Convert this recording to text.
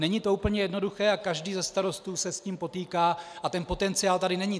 Není to úplně jednoduché a každý se starostů se s tím potýká a ten potenciál tady není.